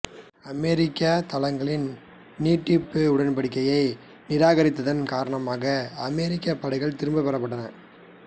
அமெரிக்கத் தளங்களின் நீட்டிப்பு உடன்படிக்கையை நிராகரித்ததன் காரணமாக அமெரிக்கப் படைகள் திரும்பப் பெறப்பட்டன